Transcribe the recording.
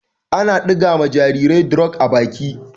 Ana ɗiga ma jarirai drof a baki.